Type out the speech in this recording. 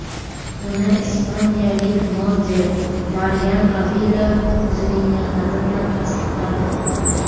Buni ispaniyalik model Marian Avila o‘zining mehnati bilan tasdiqladi.